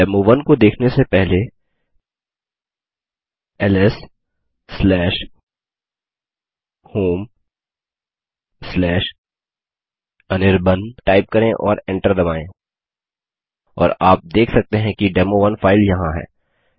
डेमो1 को देखने से पहले lshomeअनिर्बाण टाइप करें और एंटर दबायें और आप देख सकते हैं कि डेमो1 फाइल यहाँ है